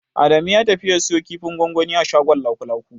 Adamu ya tafi ya siyo kifin gwangwani a shagon Lakulaku.